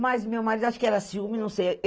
Mas, meu marido, acho que era ciúme, não sei.